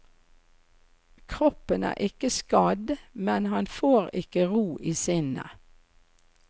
Kroppen er ikke skadd, men han får ikke ro i sinnet.